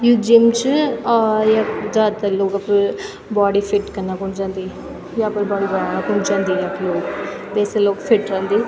यु gym च और यख जादातर लोग अपर बॉडी फिट कना खुण जन्दी या अपर बॉडी बनाणा खुन जन्दी यख लोग तेसे लोग फिट रंदी।